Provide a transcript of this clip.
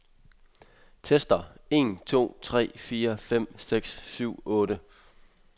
Tester en to tre fire fem seks syv otte.